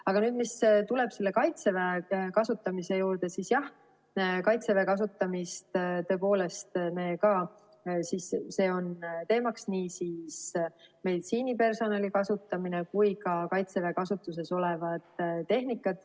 Aga mis puutub Kaitseväe kasutamisse, siis jah, Kaitseväe kasutamine on teema, nii meditsiinipersonali kasutamine kui ka Kaitseväe kasutuses olev tehnika.